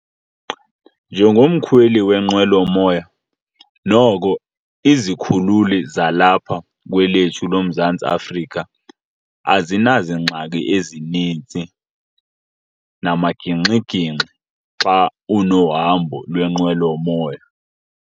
Njengomkhweli wenqwelomoya noko izikhululi zalapha kwelethu loMzantsi Afrika azinazingxaki ezininzi namagingxigingxi xa unohambo lwenqwelomoya.